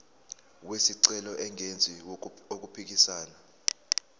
wesicelo engenzi okuphikisana